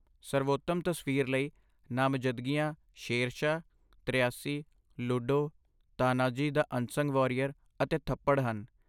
ਸਰਵੋਤਮ ਤਸਵੀਰ ਲਈ, ਨਾਮਜ਼ਦਗੀਆਂ ਸ਼ੇਰਸ਼ਾਹ, ਤਰਿਆਸੀ, Ludo, Tanhaji the unsung warrior, ਅਤੇ ਥੱਪੜ ਹਨ